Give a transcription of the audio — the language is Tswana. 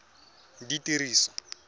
ditiriso